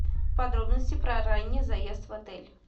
подробности про ранний заезд в отель